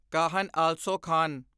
Kahan also Khan